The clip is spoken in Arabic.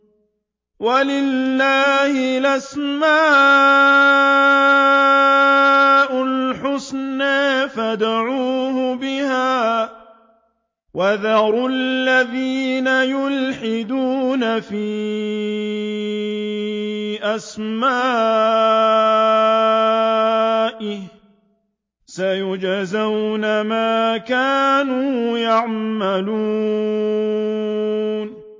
وَلِلَّهِ الْأَسْمَاءُ الْحُسْنَىٰ فَادْعُوهُ بِهَا ۖ وَذَرُوا الَّذِينَ يُلْحِدُونَ فِي أَسْمَائِهِ ۚ سَيُجْزَوْنَ مَا كَانُوا يَعْمَلُونَ